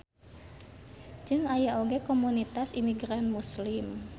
Jeung aya oge komunitas imigran Muslim.